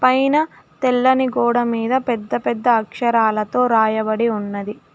పైన తెల్లని గోడ మీద పెద్ద పెద్ద అక్షరాలతో రాయబడి ఉన్నది.